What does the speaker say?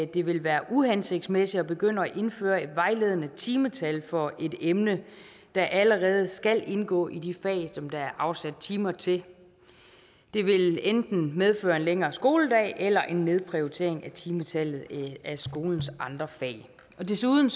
det ville være uhensigtsmæssigt at begynde at indføre et vejledende timetal for et emne der allerede skal indgå i de fag som der er afsat timer til det ville enten medføre en længere skoledag eller en nedprioritering af timetallet i skolens andre fag og desuden